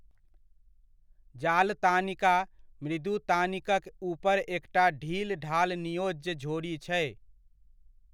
जाल तानिका मृदुतानिकक ऊपर एकटा ढील ढाल नियोज्य झोरी छै।